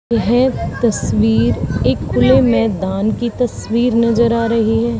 यह तस्वीर एक खुले मैदान की तस्वीर नजर आ रही है।